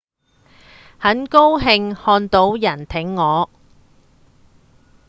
很高興看到有人挺我